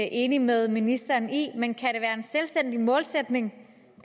enig med ministeren i men kan det være en selvstændig målsætning